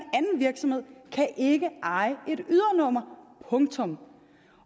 virksomhed kan ikke eje et ydernummer punktum